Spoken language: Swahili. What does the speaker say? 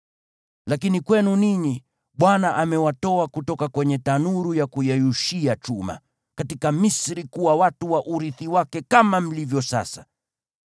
Lakini kwenu ninyi, Bwana amewatoa kutoka kwenye tanuru ya kuyeyushia chuma, katika Misri kuwa watu wa urithi wake kama mlivyo sasa.